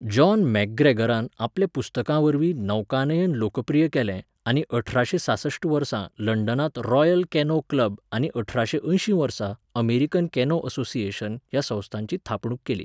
John मॅकग्रेगरान आपल्या पुस्तकांवरवीं नौकानयन लोकप्रीय केलें आनी अठराशें सासश्ट वर्सा लंडनांत रॉयल कॅनो क्लब आनी अठराशें अंयशीं वर्सा अमेरिकन कॅनो असोसिएशन ह्या संस्थांची थापणूक केली.